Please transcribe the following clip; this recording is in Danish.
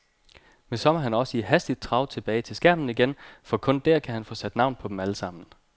Men så må han også i hastigt trav tilbage til skærmen igen, for kun der kan han få sat navn på dem alle sammen.